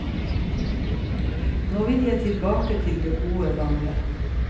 Nå vil jeg tilbake til det gode, gamle.